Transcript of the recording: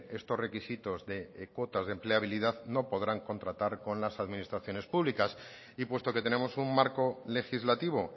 estos requisitos de cuotas de empleabilidad no podrán contratar con las administraciones públicas y puesto que tenemos un marco legislativo